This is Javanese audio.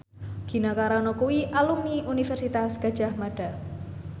Gina Carano kuwi alumni Universitas Gadjah Mada